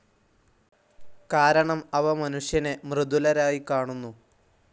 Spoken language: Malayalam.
കാരണം അവ മനുഷ്യനെ മൃഗതുല്യരായി കാണുന്നു.